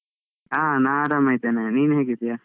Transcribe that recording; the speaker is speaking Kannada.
ಆ ನಾ ಆರಾಮ ಇದ್ದೇನೆ. ನೀನ್ ಹೇಗಿದ್ಯಾ?